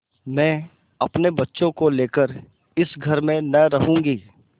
मैं अपने बच्चों को लेकर इस घर में न रहूँगी